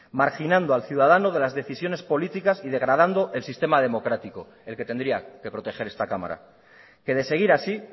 marginando al ciudadano de las decisiones políticas y degradando el sistema democrático el que tendría que proteger esta cámara que de seguir así